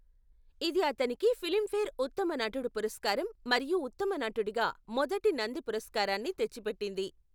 ఇది అతనికి ఫిలింఫేర్ ఉత్తమ నటుడు పురస్కారం మరియు ఉత్తమ నటుడిగా మొదటి నంది పురస్కారాన్ని తెచ్చిపెట్టింది.